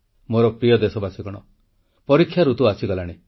ମୋର ପ୍ରିୟ ଦେଶବାସୀ ପରୀକ୍ଷା ଋତୁ ଆସିଗଲାଣି